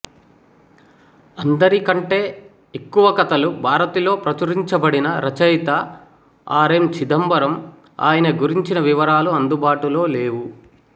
అందరికంటే ఎక్కువ కథలు భారతిలో ప్రచురించబడిన రచయిత ఆర్ ఎం చిదంబరం ఆయన గురించిన వివరాలు అందుబాటులో లేవు